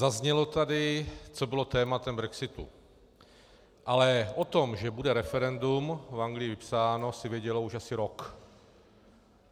Zaznělo tady, co bylo tématem brexitu, ale o tom, že bude referendum v Anglii vypsáno, se vědělo už asi rok.